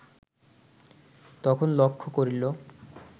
তখন লক্ষ্য করিল